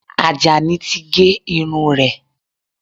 Àjàní ti gé irun rẹ̀